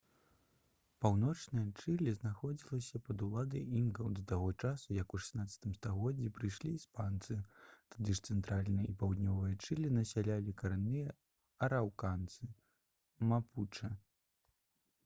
паўночнае чылі знаходзілася пад уладай інкаў да таго часу як у 16 стагоддзі прыйшлі іспанцы. тады ж цэнтральнае і паўднёвае чылі насялялі карэнныя араўканцы мапучэ